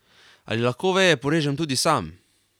Ali lahko veje porežem tudi sam?